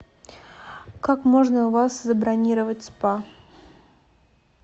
как можно у вас забронировать спа